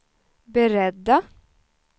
beredda